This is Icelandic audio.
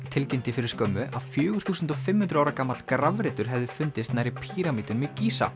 tilkynnti fyrir skömmu að fjögur þúsund og fimm hundruð ára gamall grafreitur hefði fundist nærri píramídunum í